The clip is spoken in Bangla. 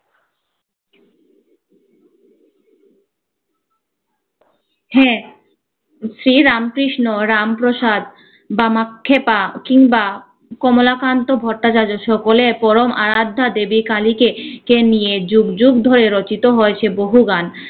হ্যা, শ্রী রামকৃষ্ণ, রাম-প্রসাদ, বামাক্ষেপা, কিংবা কমলাকান্ত ভট্টাচার্য সকলে পরম আরাধ্যা দেবী কালীকে কে নিয়ে জগ জগ ধরে রচিত হয়েছে বহু গান।